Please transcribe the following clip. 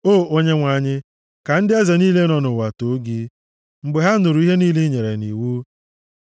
O Onyenwe anyị, ka ndị eze niile nọ nʼụwa too gị, mgbe ha nụrụ ihe niile i nyere nʼiwu.